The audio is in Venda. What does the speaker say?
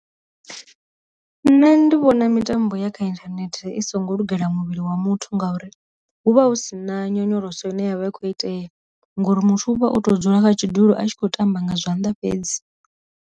Nṋe ndi vhona mitambo ya kha inthanethe i songo lugela muvhili wa muthu ngauri hu vha hu si na nyonyoloso ine yavha i kho itea ngori muthu u vha o to dzula kha tshidulo a tshi khou tamba nga zwanḓa fhedzi.